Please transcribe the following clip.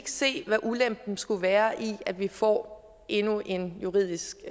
se hvad ulempen skulle være i at vi får endnu en juridisk